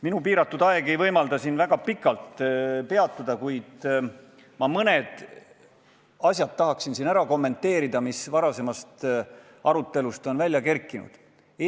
Minu piiratud aeg ei võimalda siin väga pikalt rääkida, kuid ma mõnda asja, mis varasemas arutelus on üles kerkinud, tahaksin kommenteerida.